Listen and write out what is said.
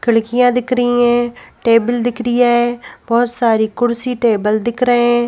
खिड़कियां दिख रही हैं टेबल दिख रिया है बहुत सारी कुर्सी टेबल दिख रहे हैं।